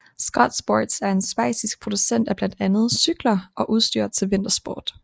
Scott Sports er en schweizisk producent af blandt andet cykler og udstyr til vintersport